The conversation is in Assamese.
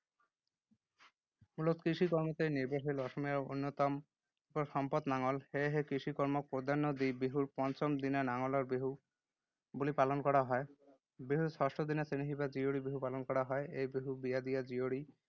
মূলত কৃষি কৰ্মতেই নিৰ্ভৰশীল অসমীয়াৰ অন্যতম এপদ সম্পদ নাঙল। সেয়েহে কৃষিকৰ্মক প্ৰাধান্য দি বিহুৰ পঞ্চম দিনা নাঙলৰ বিহু বুলি পালন কৰা হয়। বিহুৰ ষষ্ঠদিনা চেনেহী বা জীয়ৰী বিহু পালন কৰা হয়। এই বিহুত বিয়া দিয়া জীয়ৰী